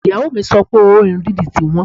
Ìyàwó mi sọ pé owó irun dídì ti wọ́n